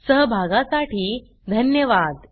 सहभागासाठी धन्यवाद